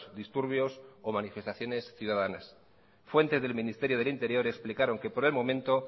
disturbios o manifestaciones ciudadanas fuente del ministerio del interior explicaron que por el momento